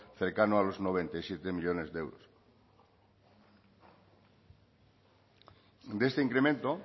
cercano a los noventa y siete millónes de euros de este incremento